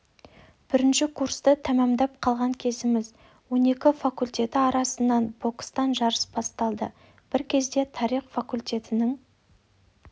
бірінші курсты тәмәмдап қалған кезіміз он екі факультеті арасында бокстан жарыс басталды бір кезде тарих факультетінің